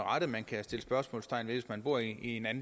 rette man kan sætte spørgsmålstegn ved hvis man bor i